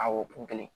Awɔ kun kelen